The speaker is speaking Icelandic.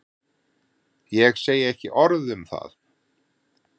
Ég segi ekki orð um það.